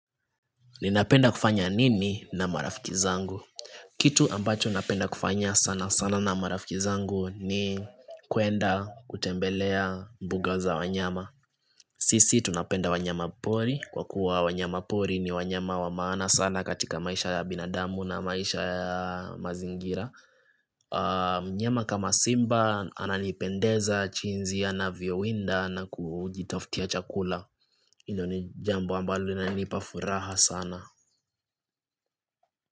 Ninapenda kufanya nini na marafiki zangu? Kitu ambacho napenda kufanya sana sana na marafiki zangu ni kuenda kutembelea mbuga za wanyama. Sisi tunapenda wanyama pori. Kwa kuwa wanyama pori ni wanyama wa maana sana katika maisha ya binadamu na maisha ya mazingira. Mnyama kama simba ananipendeza jinsi anavyowinda na kujitafutia chakula. Hilo ni jambu ambalo linanipafuraha sana.